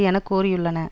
என கோரியுள்ளன